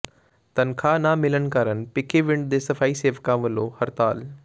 ਤਨਖਾਹ ਨਾ ਮਿਲਣ ਕਾਰਨ ਭਿੱਖੀਵਿੰਡ ਦੇ ਸਫ਼ਾਈ ਸੇਵਕਾਂ ਵੱਲੋਂ ਹੜਤਾਲ